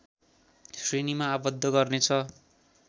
श्रेणीमा आबद्ध गर्नेछ